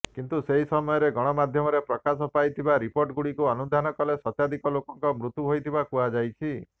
କିନ୍ତୁ ସେହି ସମୟରେ ଗଣମାଧ୍ୟମରେ ପ୍ରକାଶ ପାଇଥିବା ରିପୋର୍ଟଗୁଡ଼ିକୁ ଅନୁଧ୍ୟାନ କଲେ ଶତାଧିକ ଲୋକଙ୍କ ମୃତ୍ୟୁ ହୋଇଥିବା କୁହାଯାଇଛି